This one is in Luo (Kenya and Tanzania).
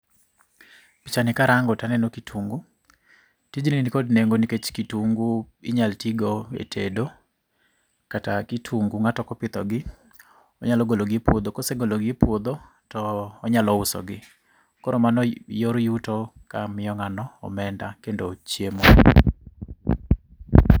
Picha ni karang'o to aneno kitungu tijni ni kod neng'o nikech kitugu inyal tigo e tedo kata kitungu ngato kopitho onyalo golo gi e puodho, kosegolo gi e puodho to onyalo usogi koro mano yor yuto mamiyo ngano omenda kendo chiemo.